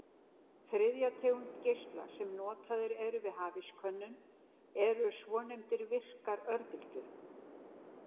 Þriðja tegund geisla sem notaðir eru við hafískönnun eru svonefndar virkar örbylgjur.